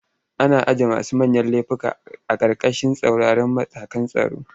Ana ajiye masu manyan lefuka a ƙarƙashin tsauraran matakan tsaro.